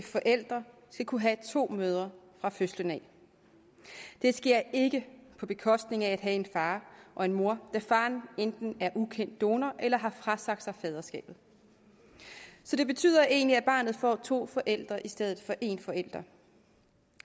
forældre skal kunne have to mødre fra fødslen af det sker ikke på bekostning af at have en far og en mor da faren enten er en ukendt donor eller har frasagt sig faderskabet så det betyder egentlig at barnet får to forældre i stedet for en forælder